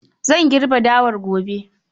Zan girbe dawar gobe.